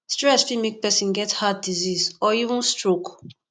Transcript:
stress fit make person get heart disease or even stoke